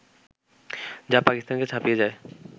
যা পাকিস্তানকে ছাপিয়ে যায়